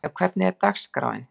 Dýrleif, hvernig er dagskráin?